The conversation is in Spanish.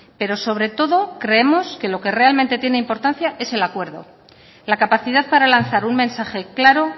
pero sobre todo creemos que lo que realmente tiene importancia es el acuerdo la capacidad para lanzar un mensaje claro